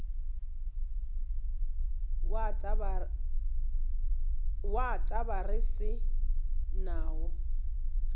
wa taba re se nawo